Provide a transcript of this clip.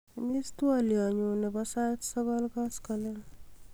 imis twolyonyun nebo sait sogol koskolen